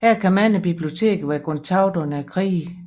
Her kan mange biblioteker være gået tabt under krige